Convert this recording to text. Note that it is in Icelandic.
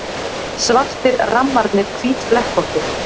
Svartir rammarnir hvítflekkóttir.